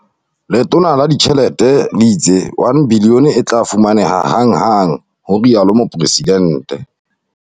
"Letona la Ditjhelete le itse R1 bilione e tla fumaneha hanghang," ho rialo Mopresidente.